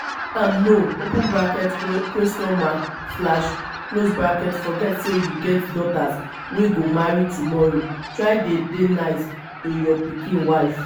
no open bracket question mark slash close bracket forget say you get daughters wey go marry tomorrow try dey dey nice to your pikin wife